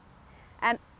en